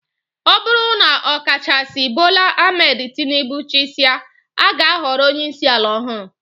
Ọ bụrụ na ọkachaisi Bola Ahmed Tinibu chịsịa, a ga-ahọrọ onyeisi ala ọhụrụ